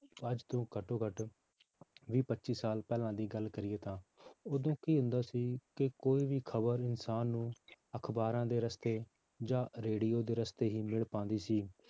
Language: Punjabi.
ਅੱਜ ਤੋਂ ਘੱਟੋਂ ਘੱਟ ਵੀਹ ਪੱਚੀ ਸਾਲ ਪਹਿਲਾਂ ਦੀ ਗੱਲ ਕਰੀਏ ਤਾਂ ਉਦੋਂ ਕੀ ਹੁੰਦਾ ਸੀ ਕਿ ਕੋਈ ਵੀ ਖ਼ਬਰ ਇਨਸਾਨ ਨੂੰ ਅਖ਼ਬਾਰਾਂ ਦੇ ਰਸਤੇ ਜਾਂ ਰੇਡੀਓ ਦੇ ਰਸਤੇ ਹੀ ਮਿਲ ਪਾਉਂਦੀ ਸੀ